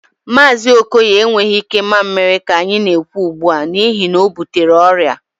Mazi Okoye enweghị ike mamịrị ka anyị na-ekwu ugbu a, n'ihi na o butere ọrịa